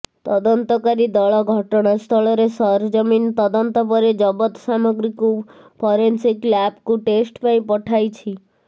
ତଦନ୍ତକାରୀ ଦଳ ଘଟଣାସ୍ଥଳରେ ସରଜମିନ୍ ତଦନ୍ତ ପରେ ଜବତ ସାମଗ୍ରୀକୁ ଫରେନସିକ୍ ଲାବ୍କୁ ଟେଷ୍ଟ ପାଇଁ ପଠାଇଛି